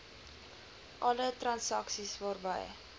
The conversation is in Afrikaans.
alle transaksies waarby